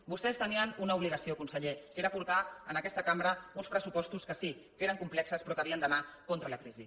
vostès tenien una obligació conseller que era portar a aquesta cambra uns pressupostos que sí que eren complexos però que havien d’anar contra la crisi